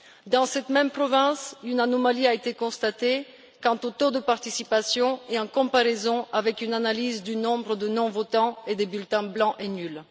Dans cette même province, une anomalie a été constatée quant au taux de participation et en comparaison avec une analyse du nombre de non votants et de bulletins blancs et nuls.